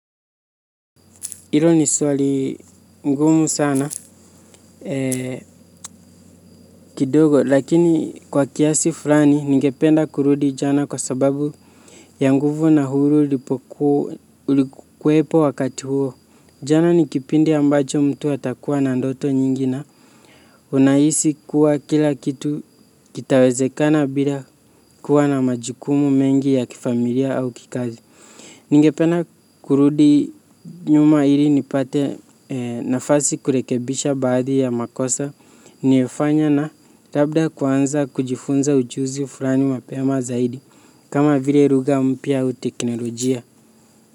Hilo ni swali ngumu sana kidogo lakini kwa kiasi fulani ningependa kurudi jana kwa sababu ya nguvu na huru ulikuwepo wakati huo. Jana ni kipindi ambacho mtu atakuwa na ndoto nyingine. Unahisi kuwa kila kitu kitawezekana bila kuwa na majukumu mengi ya kifamilia au kikazi. Ningependa kurudi nyuma ili nipate nafasi kurekebisha baadhi ya makosa niliyofanya na labda kuanza kujifunza ujuzi fulani mapema zaidi kama vile ruga mpya au teknolojia.